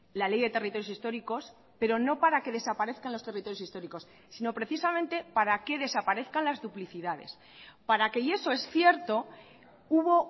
la ley de territorios históricos pero no para que desaparezcan los territorios históricos sino precisamente para que desaparezcan las duplicidades para que y eso es cierto hubo